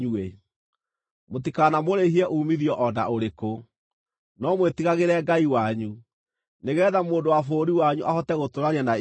Mũtikanamũrĩhie uumithio o na ũrĩkũ, no mwĩtigagĩre Ngai wanyu, nĩgeetha mũndũ wa bũrũri wanyu ahote gũtũũrania na inyuĩ.